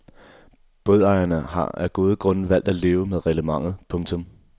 Bådejerne har af gode grunde valgt at leve med reglementet. punktum